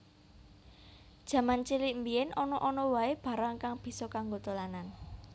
Jaman cilik mbiyen ana ana wae barang kang bisa kanggo dolanan